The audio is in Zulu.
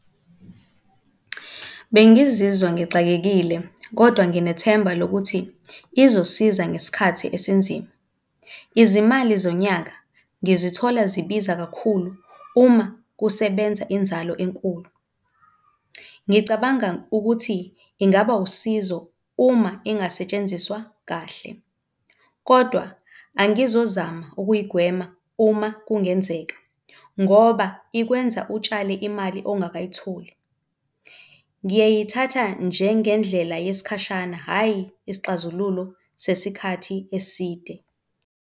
Bengizizwa ngixakekile kodwa nginethemba lokuthi izosiza ngesikhathi esinzima. Izimali zonyaka ngizithola zibiza kakhulu uma kusebenza inzalo enkulu. Ngicabanga ukuthi ingaba usizo uma ingasetshenziswa kahle, kodwa angizozama ukuyigwema uma kungenzeka ngoba ikwenza utshale imali ongakayitholi. Ngiyayithatha njengendlela yesikhashana, hhayi isixazululo sesikhathi eside.